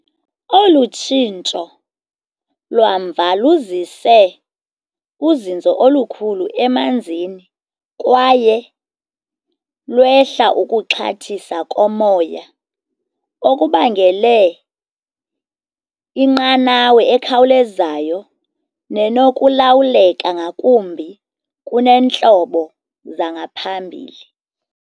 Olu tshintsho lwamva luzise uzinzo olukhulu emanzini kwaye lwehla ukuxhathisa komoya, okubangele inqanawa ekhawulezayo nenokulawuleka ngakumbi kuneentlobo zangaphambili.